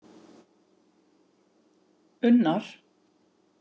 Unnar